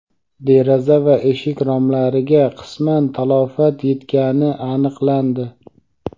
deraza va eshik romlariga qisman talafot yetgani aniqlandi.